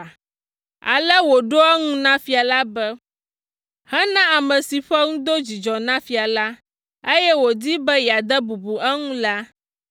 Ale wòɖo eŋu na fia la be, “Hena ame si ƒe nu do dzidzɔ na fia la, eye wòdi be yeade bubu eŋu la,